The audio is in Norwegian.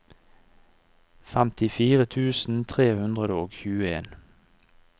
femtifire tusen tre hundre og tjueen